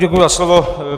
Děkuji za slovo.